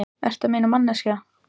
Hvað ertu að meina, manneskja?